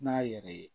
N'a yɛrɛ ye